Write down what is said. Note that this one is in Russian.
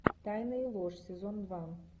тайная ложь сезон два